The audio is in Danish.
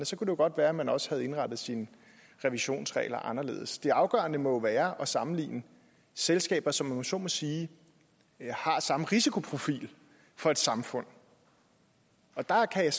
så kunne det godt være at man også havde indrettet sine revisionsregler anderledes det afgørende må være at sammenligne selskaber som om man så må sige har samme risikoprofil for samfundet og der kan jeg